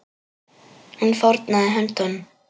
Hún fórnaði höndum.